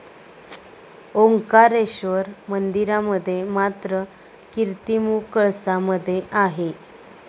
ओंकारेश्वर मंदिरामध्ये मात्र, कीर्तिमुख कळसामध्ये आहे.